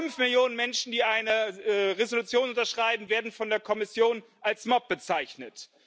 Fünf Millionen Menschen, die eine Resolution unterschreiben, werden von der Kommission als Mob bezeichnet.